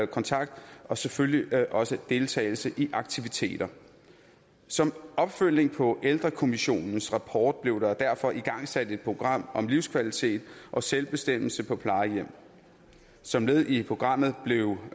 kontakt og selvfølgelig også deltagelse i aktiviteter som opfølgning på ældrekommissionens rapport blev der derfor igangsat et program om livskvalitet og selvbestemmelse på plejehjem som led i programmet blev